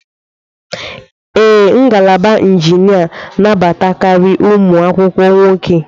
Ee, ngalaba injinia nabata karị ụmụ akwụkwọ nwoke.